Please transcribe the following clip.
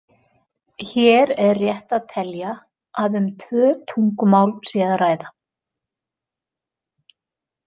Hér er rétt að telja að um tvö tungumál sé að ræða.